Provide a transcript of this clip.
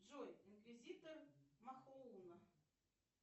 джой инквизитор махоуна